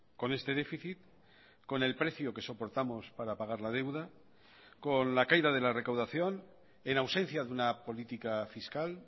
con este déficit con el precio que soportamos para pagar la deuda con la caída de la recaudación en ausencia de una política fiscal